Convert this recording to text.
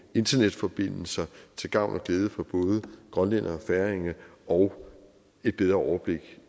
internetforbindelser til gavn og glæde for både grønlændere og færinger og et bedre overblik